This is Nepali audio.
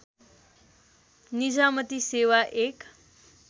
निजामती सेवा एक